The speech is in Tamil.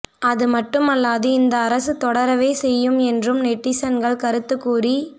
அது மட்டுமல்லாது இந்த அரசு தொடரவே செய்யும் என்றும் நெட்டிசன்கள் கருத்து கூறி